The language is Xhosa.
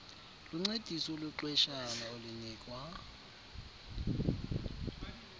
luncediso lwexeshana olunikwa